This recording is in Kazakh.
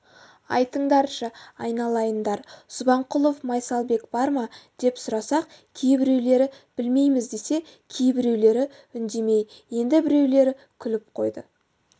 айтыңдаршы айналайындар субанқұлов майсалбек бар ма деп сұрасақ кейбіреулері білмейміз десе кейбіреулері үндемей енді біреулері күліп қойды